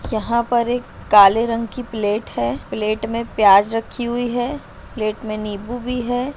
यहाँ पर एक काले रंग की प्लेट है प्लेट में प्याज रही हुई है प्लेट मे नीबू भी है।